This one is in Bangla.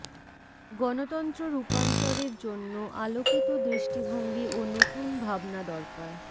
গণতন্ত্র রূপান্তরের জন্য আলোকিত দৃষ্টিভঙ্গি ও নতুন ভাবনা দরকার